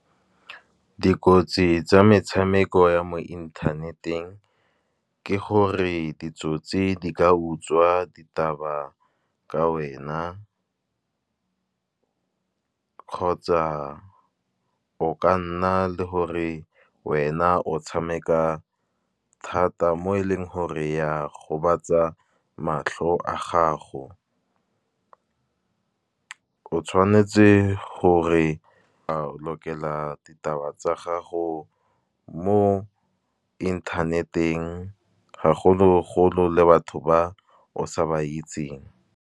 Dikotsi tsa metshameko ya mo inthaneteng, ke gore ditsotsi di ka utswa ditaba ka wena. Kgotsa o ka nna le gore wena o tshameka thata, mo e leng gore ya gobatsa matlho a gago. O tshwanetse gore o lokela ditaba tsa gago mo internet-eng, gagolo-golo le batho ba o sa ba itseng.